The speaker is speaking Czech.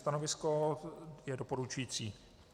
Stanovisko je doporučující.